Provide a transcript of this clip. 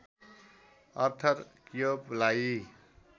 Arthur क्योबलाई